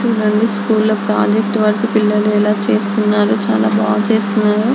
చుడండి project work పిల్లలు ఎలా చేస్తున్నారో చాలా బాగా చేస్తున్నారు.